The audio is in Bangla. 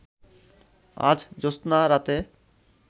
আজ জ্যোৎস্না রাতে